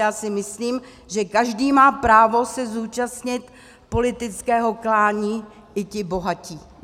Já si myslím, že každý má právo se zúčastnit politického klání, i ti bohatí.